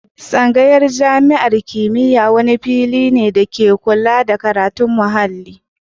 Tsangaya ta jami'an kimiyya wani fili da ke kulla da karatun muhalli.